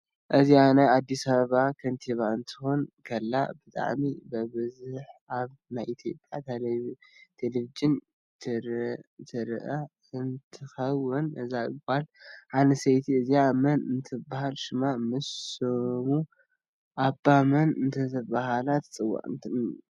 እዝኣ ናይ አዲስ ኣበበ ክንትባ ክትኮን ከላ ብጠዓሚ ብበዝሕ ኣብ ናይ ኢትዮጵያ ተለቨጅን ትርእ እ ንትትከውን እዛ ጋል ኣንስተይቲ እዝኣ መን እደተበሃለት ሽማ ምስ ሽሙ ኣባ መን እደተበሃለት ትፅዋዕ?